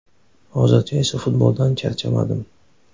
Hozircha esa futboldan charchamadim.